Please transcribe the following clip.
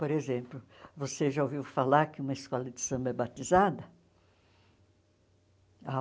Por exemplo, você já ouviu falar que uma escola de samba é batizada?